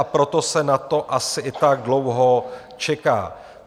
A proto se na to asi i tak dlouho čeká.